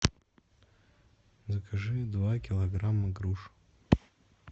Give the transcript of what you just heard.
закажи два килограмма груш